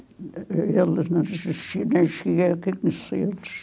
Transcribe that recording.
Eles não, não cheguei a conhecê-los.